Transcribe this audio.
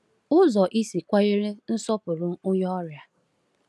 Ụzọ isi kwanyere nsọpụrụ onye ọrịa.